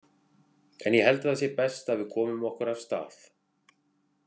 En ég held það sé best að við komum okkur af stað